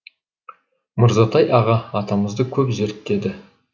мырзатай аға атамызды көп зерттеді